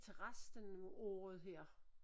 Til resten af året her